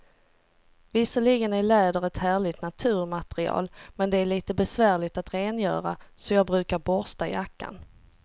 Visserligen är läder ett härligt naturmaterial, men det är lite besvärligt att rengöra, så jag brukar borsta jackan.